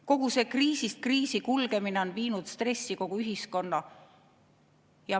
Kogu see kriisist kriisi kulgemine on viinud stressi kogu ühiskonna.